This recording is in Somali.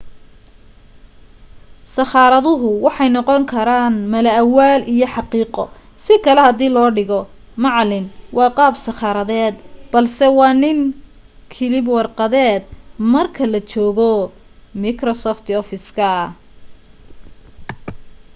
sakhaaraduhu waxay noqon karaan mala awaal iyo xaqiiqo si kale hadii dhigo macalin waa qaab sakharadeed balse waa nin kilib warqadeed marka la joogo miksofti ofiska